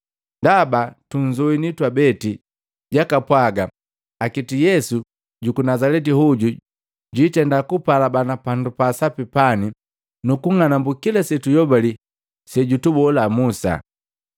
Ndaba tunzowini twabeti jakapwaga akiti Yesu juku Nazaleti hoju jwiitenda kupa alabana pandu paa sapi pani nukung'anambu kila setuyobali sejutubolaa Musa.”